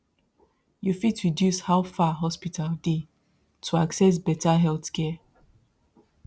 you fit reduce how far hospital dey to access better healthcare